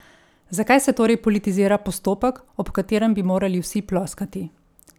Zakaj se torej politizira postopek, ob katerem bi morali vsi ploskati?